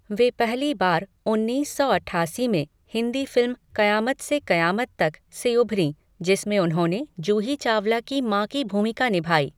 वे पहली बार उन्नीस सौ अट्ठासी में हिंदी फिल्म कयामत से कयामत तक, से उभरी, जिसमें उन्होंने जूही चावला की माँ की भूमिका निभाई।